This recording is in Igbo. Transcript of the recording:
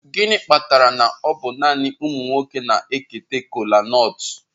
Gịnị kpatara na ọ bụ naanị ụmụ nwoke na-eketa kolanut?